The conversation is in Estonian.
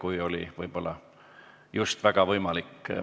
Märt Sults, palun!